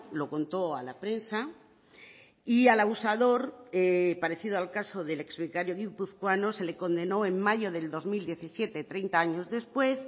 lo contó a la prensa y al abusador parecido al caso del ex vicario guipuzcoano se le condenó en mayo del dos mil diecisiete treinta años después